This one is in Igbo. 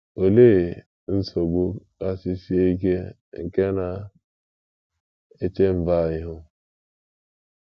“ OLEE nsogbu kasị sie ike nke na - eche mba a ihu? ”